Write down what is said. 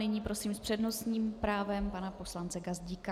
Nyní prosím s přednostním právem pana poslance Gazdíka.